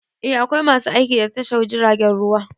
Eh, akwai masu aiki a tashar jiragen ruwa.